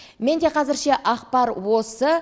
менде қазірше ақпар осы